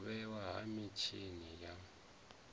u vhewa ha mitshini ya